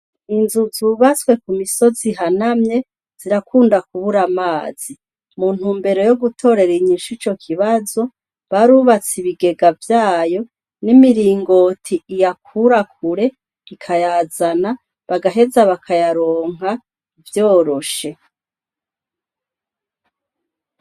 Inzu zuubatswe ku misozi ihanamye zirakunda kubura amazi, mu ntumbero yo gutorera inyishu ico kibazo barubatse ibigega vyayo n'imiringoti iyakura kure ikayazana bagaheza bakayaronka vyoroshe